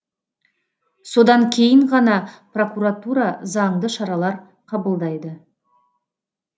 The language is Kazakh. содан кейін ғана прокуратура заңды шаралар қабылдайды